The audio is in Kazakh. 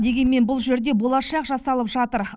дегенмен бұл жерде болашақ жасалып жатыр